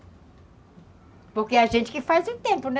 Porque a gente que faz o tempo, né?